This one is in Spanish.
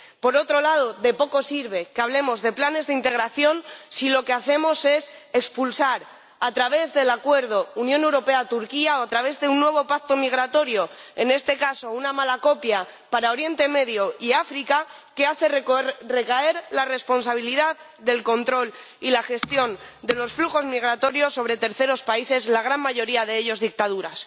Por otro lado, de poco sirve que hablemos de planes de integración si lo que hacemos es expulsar a través del acuerdo Unión Europea Turquía, o través de un nuevo pacto migratorio, en este caso una mala copia para Oriente Próximo y África, que hace recaer la responsabilidad del control y la gestión de los flujos migratorios sobre terceros países, la gran mayoría de ellos dictaduras.